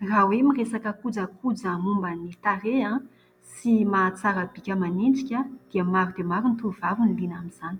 Raha hoe miresaka kojakoja momban'ny tarehy sy mahatsara ny bika aman'endrika dia maro dia maro ny tovovavy no liana amin'izany.